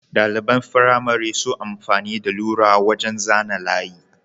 ɗaliban firamare sun amfani da lura wajan zana layi